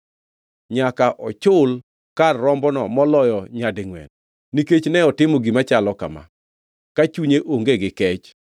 Nyaka ochul kar rombono moloyo nyadingʼwen, nikech ne otimo gima chalo kama, ka chunye onge gi kech.”